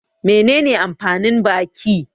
Menene amfanin baki?